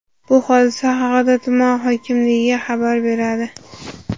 Bu hodisa haqida tuman hokimligiga xabar beradi.